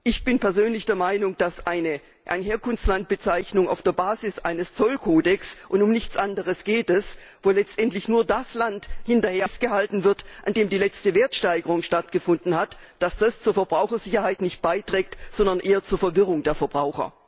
Ich bin persönlich der Meinung, dass eine Herkunftslandbezeichnung auf der Basis eines Zollkodex und um nichts anderes geht es wo letztendlich nur das Land festgehalten wird, in dem die letzte Wertsteigerung stattgefunden hat, nicht zur Verbrauchersicherheit beiträgt, sondern eher zur Verwirrung der Verbraucher.